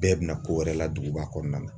Bɛɛ bɛna ko wɛrɛ la duguba kɔnɔna na